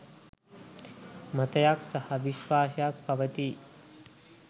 මතයක් සහ විශ්වාසයක් පවතී.